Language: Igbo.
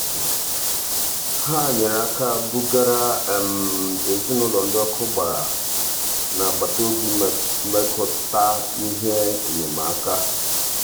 ha nyere aka bugara ezinụụlọ ndị ọkụ gbara n'agbataobi metụta ihe enyemaka. metụta ihe enyemaka.